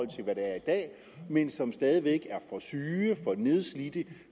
de er i dag men som er for syge og for nedslidte